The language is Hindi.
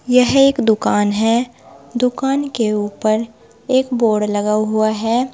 यह एक दुकान है दुकान के ऊपर एक बोर्ड लगा हुआ है।